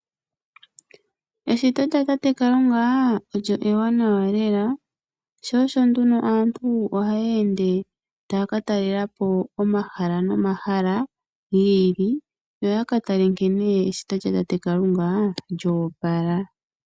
Eshito lya tate kalunga olyo ewanawa lela, sho osho nduno aantu ohaya ende taya ka talela po omahala nomahala giili yoya ka tale nkene eshito lya tate kalunga lyoopala.